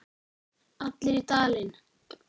Allir í Dalinn!